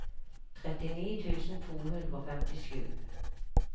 trettini tusen to hundre og femtisju